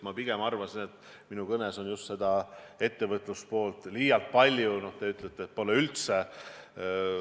Ma ise arvan, et minu kõnes oli just seda ettevõtluse poolt pigem liialt palju, nüüd teie ütlete, et pole üldse.